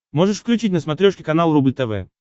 можешь включить на смотрешке канал рубль тв